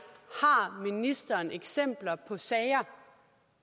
har ministeren eksempler på sager